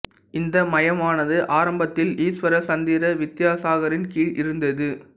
இந்த மையமானது ஆரம்பத்தில் ஈஸ்வர சந்திர வித்யாசாகரின் கீழ் இருந்தது